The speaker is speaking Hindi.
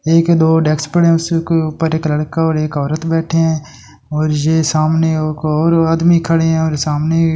एक दो डेकस पड़े है उसके ऊपर एक लड़का और एक औरत बैठे है और ये सामने एक और आदमी खड़े है और सामने--